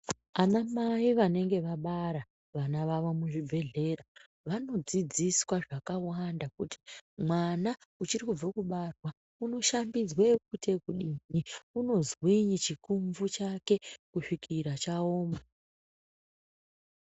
Ana Mai vanonga vabara vana vavo muzvibhedhlera vanodzidziswa zvakawanda kuti mwana uchiri kubva kubarwa unoshambidzwa echoite ekudini, unozwinyi chikumvu chake kusvikira chaoma.